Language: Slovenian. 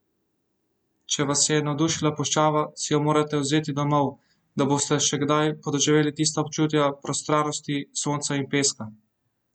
Če vas je navdušila puščava, si jo morate vzeti domov, da boste še kdaj podoživeli tista občutja prostranosti, sonca in peska!